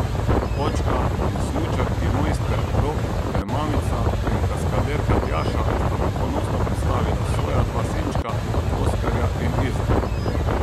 Očka in smučarki mojster Rok ter mamica in kaskaderka Tjaša sta nam ponosno predstavila svoja dva sinčka, Oskarja in Izaka.